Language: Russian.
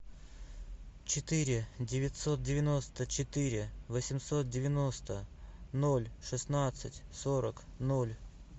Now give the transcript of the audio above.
четыре девятьсот девяносто четыре восемьсот девяносто ноль шестнадцать сорок ноль